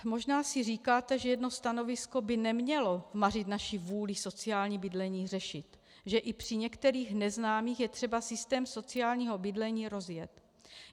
Možná si říkáte, že jedno stanovisko by nemělo mařit naši vůli sociální bydlení řešit, že i při některých neznámých je třeba systém sociálního bydlení rozjet.